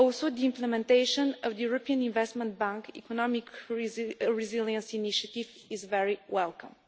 The implementation of the European Investment Bank Economic Resilience Initiative is also very welcome.